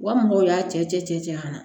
Wa mɔgɔw y'a cɛ cɛ an na